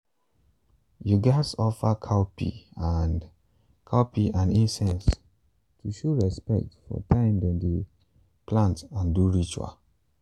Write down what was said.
you gats offer cowpeas and cowpeas and incense to show respect for time dem dem plant and do ritual.